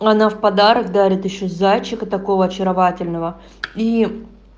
она в подарок дарит ещё зайчика такого очаровательного и